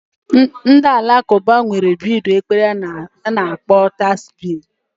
Ndị Alakụba nwere bidi ekpere ha na akpọ Tasbi